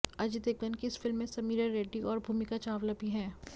अजय देवगन की इस फिल्म में समीरा रेड्डी और भूमिका चावला भी हैं